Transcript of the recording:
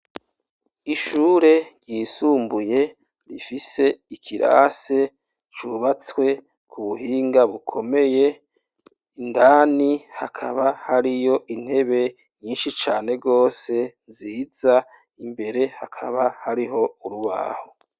Ishure ryisumbuye rifise ikirase cubatswe ku buhinga bukomeye, indani hakaba hariyo intebe nyinshi cane gose nziza, imbere hakaba hariho urubaho.